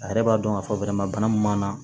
A yɛrɛ b'a dɔn k'a fɔ bana min b'a la